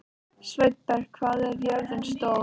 Sveinberg, hvað er jörðin stór?